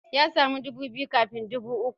Ya samu dubu biyu kafin dubu uku.